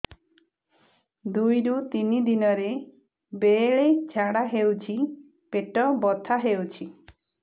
ଦୁଇରୁ ତିନି ଦିନରେ ବେଳେ ଝାଡ଼ା ହେଉଛି ପେଟ ବଥା ହେଉଛି